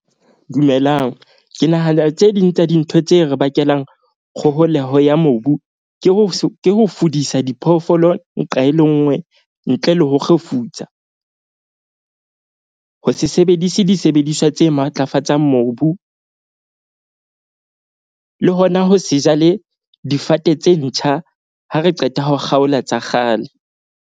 Dumelang, ke nahana tse ding tsa dintho tse re bakelang kgoholeho ya mobu ke ho ke ho fodisa diphoofolo nqa e le nngwe ntle le ho kgefutsa. Ho se sebedise disebediswa tse matlafatsang mobu le hona ho se jale difate tse ntjha. Ha re qeta ho kgaola tsa kgale.